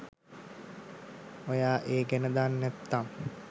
ඔයා ඒ ගැන දන්නැත්තං